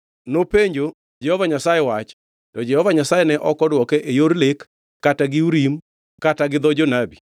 Nopenjo Jehova Nyasaye wach, to Jehova Nyasaye ne ok odwoke e yor lek kata gi Urim kata gi dho jonabi.